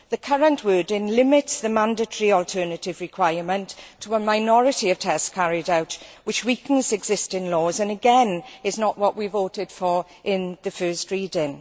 The current wording limits the mandatory alternative requirement to a minority of tests carried out, which weakens existing laws and, again, is not what we voted for in the first reading.